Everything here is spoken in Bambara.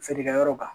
Feerekɛyɔrɔ kan